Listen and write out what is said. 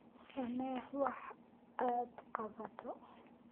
samee wax aad qabato